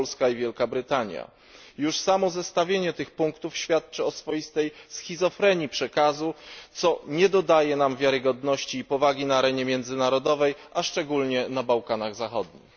Polska i Wielka Brytania. Już samo zestawienie tych punktów świadczy o swoistej schizofrenii przekazu, co nie dodaje nam wiarygodności i powagi na arenie międzynarodowej, a szczególnie na Bałkanach Zachodnich.